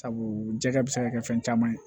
Sabu jɛgɛ bɛ se ka kɛ fɛn caman ye